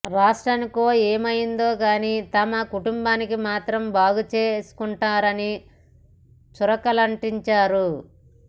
రాష్ట్రానికో ఏమో గాని తమ కుటుంబానికి మాత్రం బాగుచేసుకుంటున్నారని చురకలంటించారు